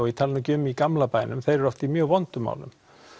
ég tali ekki um í gamla bænum þeir eru oft í mjög vondum málum